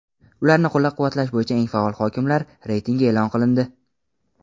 ularni qo‘llab-quvvatlash bo‘yicha eng faol hokimliklar reytingi e’lon qilindi.